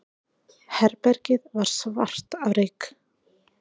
Herbergið var svart af reyk.